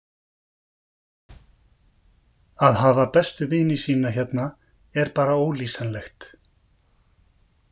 Að hafa bestu vini sína hérna er bara ólýsanlegt.